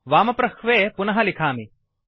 वामप्रह्वे पुनः मिखामि